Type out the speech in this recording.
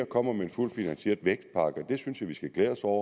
kommer med en fuldt finansieret vækstpakke og det synes jeg vi skal glæde os over